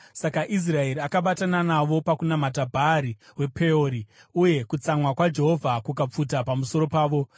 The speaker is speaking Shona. Saka Israeri akabatana navo pakunamata Bhaari wePeori, uye kutsamwa kwaJehovha kukapfuta pamusoro pavo.